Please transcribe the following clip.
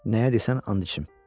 Nəyə desən and içim.